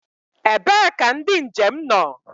Ebee ka ndị njem nọ?